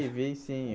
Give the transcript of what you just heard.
Eu vi, sim.